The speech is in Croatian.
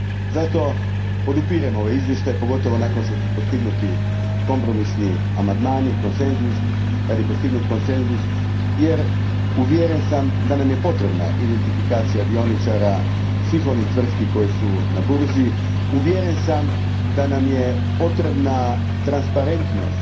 Zato, podupirem ovaj izvještaj pogotovo nakon što su postignuti kompromisni amandmani, kad je postignut konsenzus, jer uvjeren sam da nam je potrebna identifikacija dioničara svih onih tvrtki koje su na burzi, uvjeren sam da nam je potrebna transparentnost